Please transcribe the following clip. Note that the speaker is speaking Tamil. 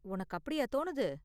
உனக்கு அப்படியா தோணுது?